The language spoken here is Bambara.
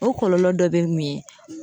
O kɔlɔlɔ dɔ be mun ye